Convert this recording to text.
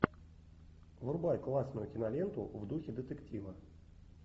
врубай классную киноленту в духе детектива